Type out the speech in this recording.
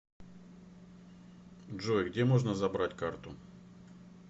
джой где можно забрать карту